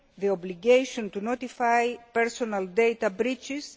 the obligation to notify personal data breaches